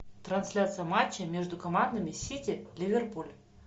трансляция матча между командами сити ливерпуль